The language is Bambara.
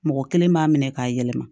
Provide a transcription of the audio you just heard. Mɔgɔ kelen b'a minɛ k'a yɛlɛma